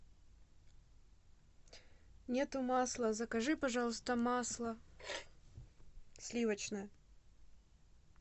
нету масла закажи пожалуйста масло сливочное